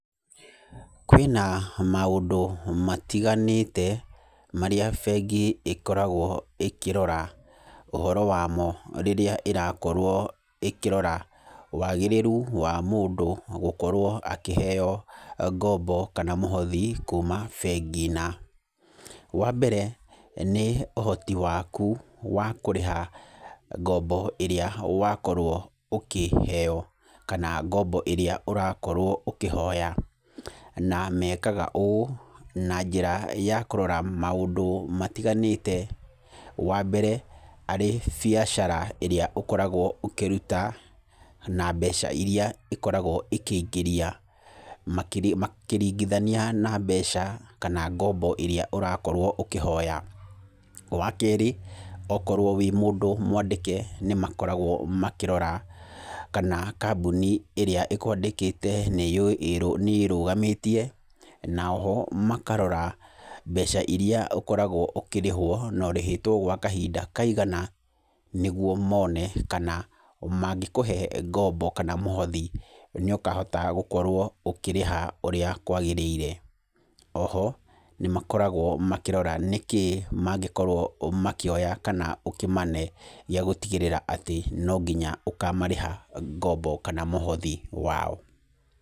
Kwĩna maũndũ matiganĩte, marĩa bengi ĩkorwo ĩkĩrora ũhoro wa mo rĩrĩa ĩrakorwo ĩkĩrora wagĩrĩru wa mũndũ gũkorwo akĩheo ngombo kana mũhothi kuuma bengi na. Wa mbere, nĩ ũhoti waku wa kũrĩha ngombo ĩrĩa wakorwo ũkĩheeo, kana ngombo ĩrĩa ũrakorwo ũkĩhoya. Na mekaga ũũ, na njĩra ya kũrora maũndũ matiganĩte. Wa mbere, arĩ biacara ĩrĩa ũkoragwo ũkĩruta, na mbeca irĩa ĩkoragwo ĩkĩingĩria. Makiri makĩringithania na mbeca kana ngombo ĩrĩa ũrakorwo ũkĩhoya. Wa keerĩ, okorwo wĩ mũndũ mwandĩke, nĩ makoragwo makĩrora kana kambuni ĩrĩa ĩkũandĩkĩte nĩ nĩ ĩĩrũgamĩtie, na oho makarora mbeca irĩa ũkoragwo ũkĩrĩhwo na ũrĩhĩtwo gwa kahinda kaigana, nĩguo mone kana mangĩkũhe ngombo kana mũhothi, nĩ ũkahota gũkorwo ũkĩrĩha ũrĩa kwagĩrĩire. Oho, nĩ makoragwo makĩrora nĩ kĩ mangĩkorwo makĩoya kana ũkĩmane, gĩa gũtigĩrĩra atĩ no nginya ũkamarĩha ngombo kana mũhothi wao.